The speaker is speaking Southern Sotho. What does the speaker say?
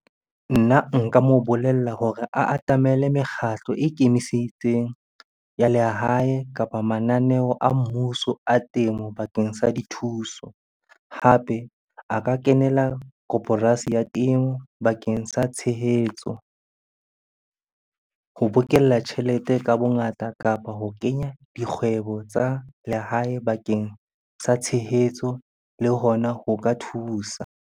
Nna nka mo bolella hore a atamele mekgatlo e ikemiseditseng ya lehae kapa mananeo a mmuso a temo bakeng sa dithuso. Hape a ka kenela koporasi ya teng bakeng sa tshehetso ho bokella tjhelete ka bongata kapa ho kenya dikgwebo tsa lehae bakeng sa tshehetso le hona ho ka thusa.